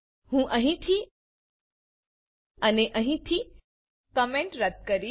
હું અહીંથી અને અહીંથી કોમેન્ટ રદ્દ કરીશ